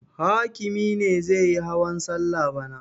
Hakimi ne zai yi hawan salla bana.